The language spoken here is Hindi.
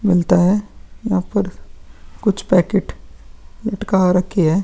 मिलता है यहाँ पर कुछ पैकेट लटका रखी है।